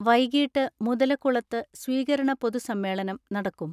വൈകിട്ട് മുതലകുളത്ത് സ്വീകരണ പൊതുസമ്മേളനം നടക്കും.